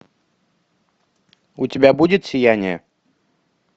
у тебя будет сияние